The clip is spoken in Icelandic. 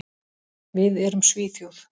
Við erum Svíþjóð.